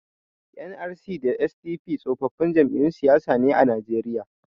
NRC da SDP tsofaffin jam'iyyun siyasa ne a Najeriya.